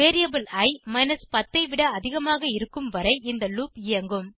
variable i 10 ஐ விட அதிகமாக இருக்கும்வரை இந்த லூப் இயங்கும்